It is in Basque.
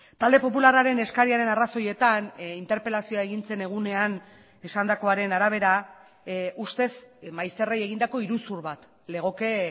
talde popularraren eskariaren arrazoietan interpelazioa egin zen egunean esandakoaren arabera ustez maizterrei egindako iruzur bat legoke